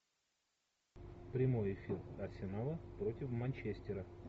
прямой эфир арсенала против манчестера